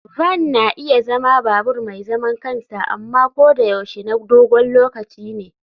Van na iya zama babur mai zaman kansa amma ko da yaushe na dogon lokaci ne.